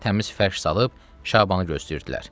Yatağa təmiz fəş salıb Şabanı gözləyirdilər.